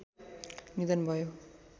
निधन भयो